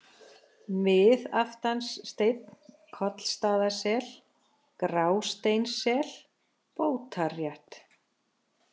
Miðaftanssteinn, Kollstaðasel, Grásteinssel, Bótarrétt